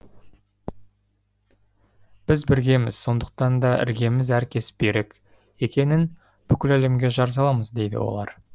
біз біргеміз сондықтан да іргеміз әркез берік екенін бүкіл әлемге жар саламыз дейді олар